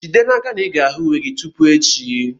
Jide n'aka na ị ga-ahụ uwe gị tupu echi!